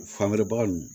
Fangɛrɛ baga nunnu